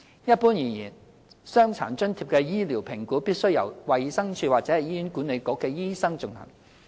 一般而言，傷殘津貼的醫療評估必須由衞生署或醫院管理局醫生進行。